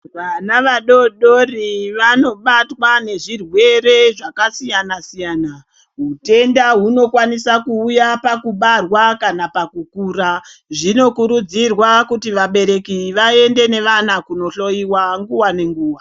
Vana vadodori vanobatwe nezvirwere zvakasiyana siyana utenda hunokwanisa kuuya pakubarwa kana pakukura zvinokurudzirwa kuti vabereki vaende nevana kundohloiwa nguwa nenguwa.